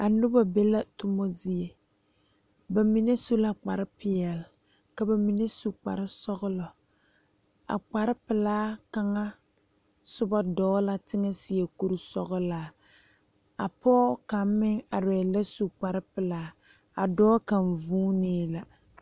A noba be la tuma zie ba su la kpare peɛle ka bamine su kpare sɔglɔ a kpare pelaa kaŋa soba eɛ dɔɔ la teŋa seɛ kuri sɔglaa a pɔge kaŋ meŋ are la su kpare pelaa dɔɔ kaŋ vuune la.